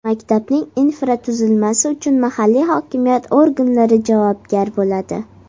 Maktabning infratuzilmasi uchun mahalliy hokimiyat organlari javobgar bo‘ladi.